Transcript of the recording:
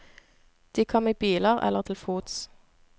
De kom i biler eller til fots.